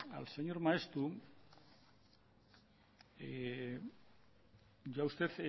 al señor maeztu yo a usted